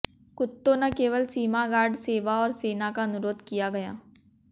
कुत्तों न केवल सीमा गार्ड सेवा और सेना का अनुरोध किया गया